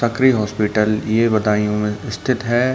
सकरी hospital ये बदायु में स्तिथ है।